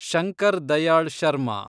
Shankar Dayal Sharma